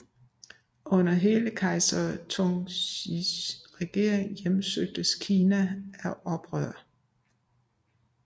Under hele kejser Tungtsjis regering hjemsøgtes Kina af oprør